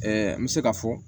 n bɛ se ka fɔ